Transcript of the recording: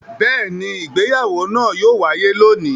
Bẹ́ẹ̀ ni, ìgbéyàwó náà yóò wáyé lónìí.